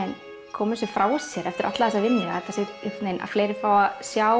koma þessu frá sér eftir alla þessa vinnu að fleiri fái að sjá